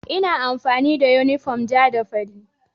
Ina amfani da yunifom ja da fari.